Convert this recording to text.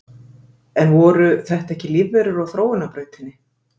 En voru þetta ekki lífverur á þróunarbrautinni?